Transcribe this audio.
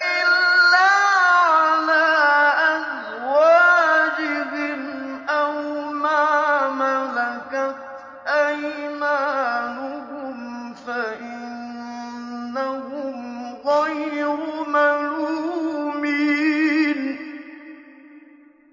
إِلَّا عَلَىٰ أَزْوَاجِهِمْ أَوْ مَا مَلَكَتْ أَيْمَانُهُمْ فَإِنَّهُمْ غَيْرُ مَلُومِينَ